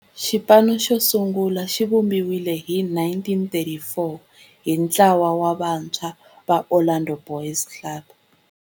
Xipano xo sungula xivumbiwile hi 1934 hi ntlawa wa vantshwa va Orlando Boys Club.